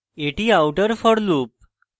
এটি outer for loop